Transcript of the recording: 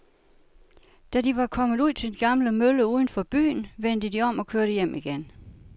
Da de var kommet ud til den gamle mølle uden for byen, vendte de om og kørte hjem igen.